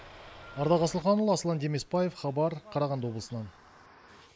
ардақ асылханұлы аслан демесбаев хабар қарағанды облысынан